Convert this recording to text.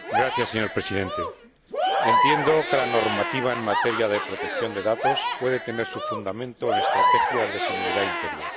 Señor Presidente, entiendo que la normativa en materia de protección de datos puede tener su fundamento en estrategias de seguridad interior.